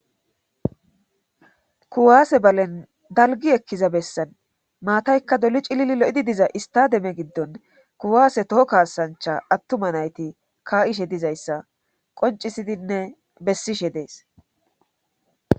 kuwaase balen dalgi ekkiza bessan maataykka doli cilili lo7idi diza istademe giddon kuwaase toho kaasancha attuma nayti ka7ishe dizayssa qoncisidinne bessishe dees